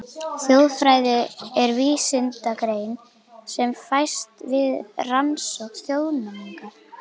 Þjóðfræði er vísindagrein sem fæst við rannsókn þjóðmenningar.